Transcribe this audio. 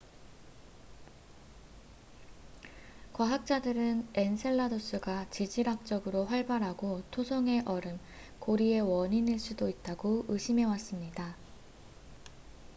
과학자들은 엔셀라두스가 지질학적으로 활발하고 토성의 얼음 고리의 원인일 수도 있다고 의심해왔습니다